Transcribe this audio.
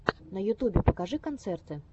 на ютубе покажи концерты